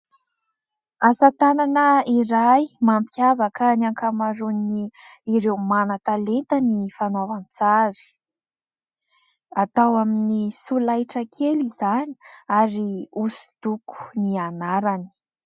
Asa tanana iray mampiavaka ny ankamaroany ireo manan-talenta ny fanaovam-tsary, atao amin'ny solaitra kely izany ary hosodoko ny anarany.